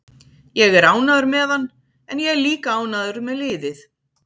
Ég er ánægður með hann en ég er líka ánægður með liðið.